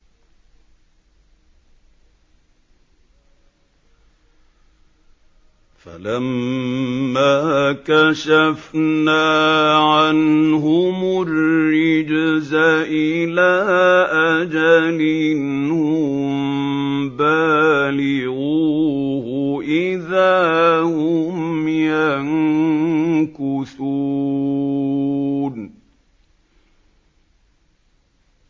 فَلَمَّا كَشَفْنَا عَنْهُمُ الرِّجْزَ إِلَىٰ أَجَلٍ هُم بَالِغُوهُ إِذَا هُمْ يَنكُثُونَ